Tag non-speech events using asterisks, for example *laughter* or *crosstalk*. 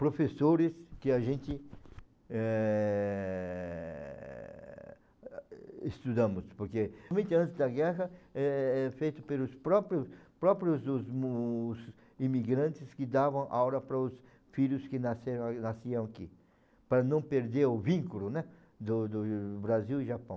professores que a gente, eh... estudamos, porque muito antes da guerra é é feito pelos próprios próprios os *unintelligible* os imigrantes que davam aula para os filhos que nasceram nasciam aqui, para não perder o vínculo, né, do do Brasil e Japão.